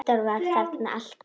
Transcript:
Halldór var þarna alltaf.